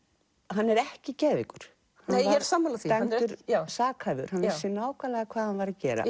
hann er ekki geðveikur ég er sammála því dæmdur sakhæfur hann vissi nákvæmlega hvað hann var að gera